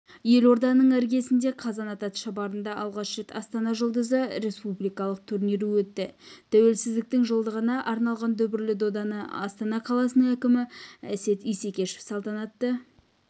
елорданың іргесіндегі қазанат атшабарында алғаш рет астана жұлдызы республикалық турнирі өтті тәуелсіздіктің жылдығына арналған дүбірлі доданыастана қаласының әкімі әсет исекешев салтанатты